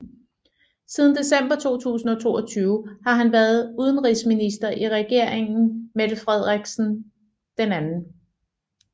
Siden december 2022 har han været udenrigsminister i regeringen Mette Frederiksen II